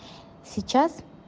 сейчас